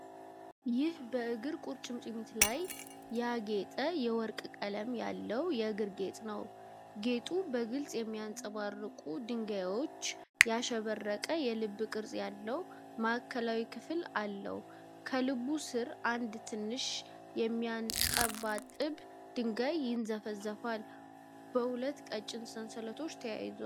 ይህ በእግር ቁርጭምጭሚት ላይ ያጌጠ የወርቅ ቀለም ያለው የእግር ጌጥ ነው። ጌጡ በግልፅ በሚያብረቀርቁ ድንጋዮች ያሸበረቀ የልብ ቅርጽ ያለው ማዕከላዊ ክፍል አለው። ከልቡ ስር አንድ ትንሽ የሚያንጠባጥብ ድንጋይ ይንዘፈዘፋል። በሁለት ቀጭን ሰንሰለቶች ተይዟል።